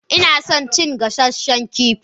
Ina son cin gasanshen kifi.